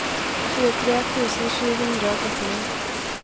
tjuetre tusen sju hundre og trettini